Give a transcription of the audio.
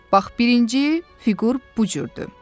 Bax birinci fiqur bu cürdür.